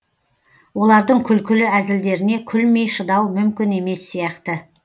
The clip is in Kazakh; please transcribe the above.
олардың күлкілі әзілдеріне күлмей шыдау мүмкін емес сияқты